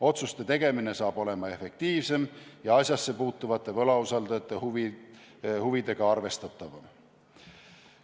Otsuste tegemine saab olema efektiivsem ja asjassepuutuvate võlausaldajate huvidega arvestatavam.